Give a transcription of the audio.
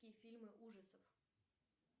фильмы ужасов